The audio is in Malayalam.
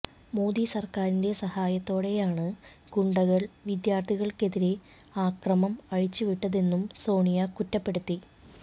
മോദി സർക്കാരിന്റെ സഹായത്തോടെയാണ് ഗുണ്ടകൾ വിദ്യാർത്ഥികൾക്കെതിരെ ആക്രമം അഴിച്ച് വിട്ടതെന്നും സോണിയ കുറ്റപ്പെടുത്തി